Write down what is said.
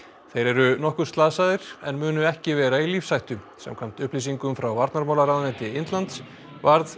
þeir eru nokkuð slasaðir en munu ekki vera í lífshættu samkvæmt upplýsingum frá varnarmálaráðuneyti Indlands varð